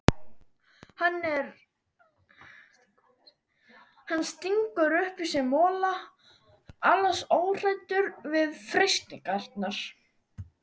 Hann stingur upp í sig mola, alls óhræddur við freistingarnar.